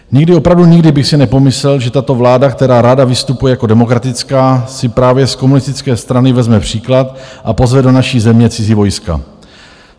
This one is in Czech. Nikdy, opravdu nikdy bych si nepomyslel, že tato vláda, která ráda vystupuje jako demokratická, si právě z komunistické strany vezme příklad a pozve do naší země cizí vojska.